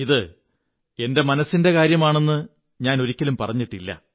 ഇത് എന്റെ മനസ്സിന്റെ കാര്യമാണെന്ന് ഞാനൊരിക്കലും പറഞ്ഞിട്ടില്ല